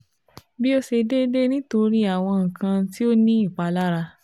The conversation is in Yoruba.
bi o ṣe deede nitori awọn nkan ti o ni ipalara